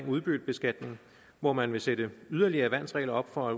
udbyttebeskatning hvor man vil sætte yderligere værnsregler op for